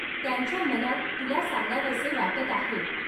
त्यांच्या मनात तुला सांगावेसे वाटत आहे.